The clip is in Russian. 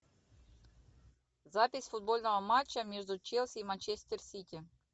запись футбольного матча между челси и манчестер сити